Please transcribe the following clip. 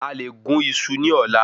A lè gún iṣu ní ọ̀la